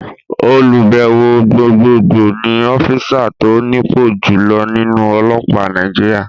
Olùbẹ̀wò Gbogbogbò ni ọ́físà tó nípò jùloọ̀ nínú ọlọ́pàá Nàìjíríà